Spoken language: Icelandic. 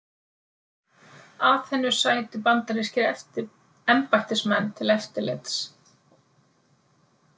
Aþenu sætu bandarískir embættismenn til eftirlits.